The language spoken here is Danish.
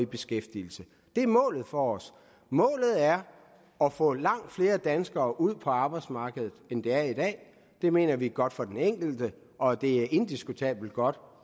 beskæftigelse det er målet for os målet er at få langt flere danskere ud på arbejdsmarkedet end der er i dag det mener vi er godt for den enkelte og det er indiskutabelt godt